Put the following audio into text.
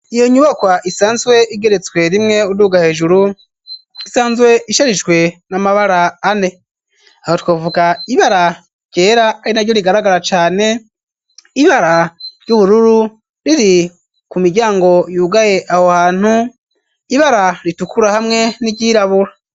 Iyo nyubakwa isanzwe igeretswe rimwe uduga hejuru isanzwe isharijwe n'amabara ane aho twavuga ibara ryera ari naryo rigaragara cane, ibara ry'ubururu riri ku miryango yugaye aho hantu, ibara ritukura hamwe n'iryirabura.